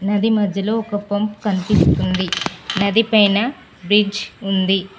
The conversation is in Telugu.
నది మధ్యలో ఒక పంప్ కనిపిస్తుంది. నది పైన బ్రిడ్జ్ ఉంది.